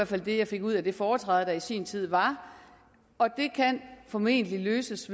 fald det jeg fik ud af det foretræde der i sin tid var og det kan formentlig løses